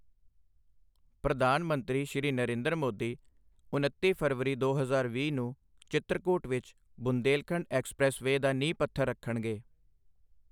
ਪ੍ਰਧਾਨ ਮੰਤਰੀ ਸ਼੍ਰੀ ਨਰੇਂਦਰ ਮੋਦੀ ਉਨੱਤੀ ਫਰਵਰੀ, ਦੋ ਹਜ਼ਾਰ ਵੀਹ ਨੂੰ ਚ੍ਰਿਤਕੂਟ ਵਿੱਚ ਬੁੰਦੇਲਖੰਡ ਐਕਸਪ੍ਰੈੱਸ ਵੇ ਦਾ ਨੀਂਹ ਪੱਥਰ ਰੱਖਣਗੇ।